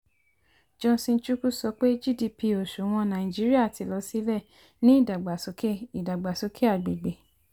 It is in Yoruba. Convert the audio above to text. johnson chukwu sọ pé gdp òṣùwọ̀n nàìjíríà ti lọ sílẹ̀ ní idàgbàsókè idàgbàsókè agbègbè.